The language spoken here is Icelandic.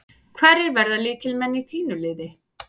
Hverjir verða lykilmenn í þínu liði?